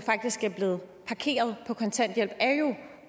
er blevet parkeret på kontanthjælp